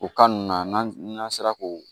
O ninnu na n'an n'an sera k'o